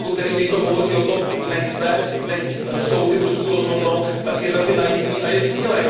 Pokud tedy někdo hovoří o tom, ať necháme soudy v Rusku rozhodnout, tak je velmi naivní a je snílek.